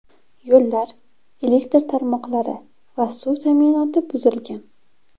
Yo‘llar, elektr tarmoqlari va suv ta’minoti buzilgan.